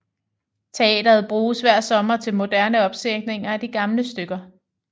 Teateret bruges hver sommer til moderne opsætninger af de gamle stykker